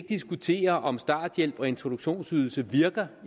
diskutere om starthjælp og introduktionsydelser virker